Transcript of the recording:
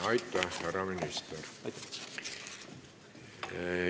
Aitäh, härra minister!